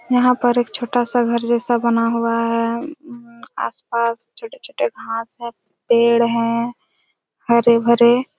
यहाँ पर एक छोटा सा घर जैसा बना हुआ हैं आस-पास छोटे-छोटे घास हैं पेड़ हैं हरे-भरे ।